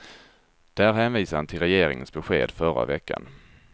Där hänvisade han till regeringens besked förra veckan.